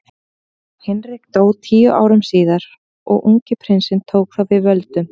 Hinrik dó tíu árum síðar og ungi prinsinn tók þá við völdum.